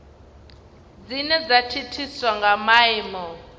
dzine dza thithiswa nga maimo